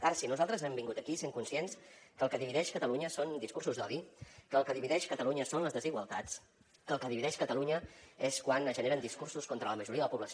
ara sí nosaltres hem vingut aquí sent conscients que el que divideix catalunya són discursos d’odi que el que divideix catalunya són les desigualtats que el que divideix catalunya és quan es generen discursos contra la majoria de la població